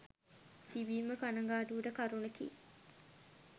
තිබීම කණගාටුවට කරුණකි.